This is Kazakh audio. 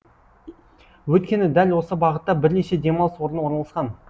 өйткені дәл осы бағытта бірнеше демалыс орны орналасқан